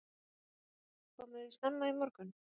Berghildur: Komuð þið snemma í morgun?